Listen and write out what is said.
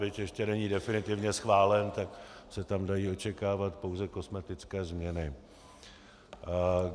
Byť ještě není definitivně schválen, tak se tam dají očekávat pouze kosmetické změny.